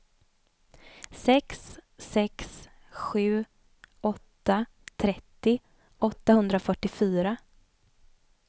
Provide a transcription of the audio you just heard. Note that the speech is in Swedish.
sex sex sju åtta trettio åttahundrafyrtiofyra